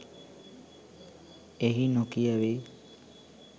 එහි නොකියැවේ.